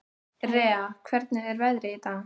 Rea, hvernig er veðrið í dag?